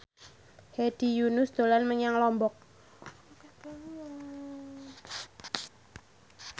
Hedi Yunus dolan menyang Lombok